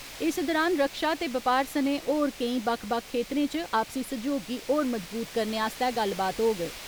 इस दौरान रक्षा ते बपार सने होर केईं बक्ख बक्ख खेतरें च आपसी सहयोग गी होर मज़बूत करने आस्तै गल्लबात होग।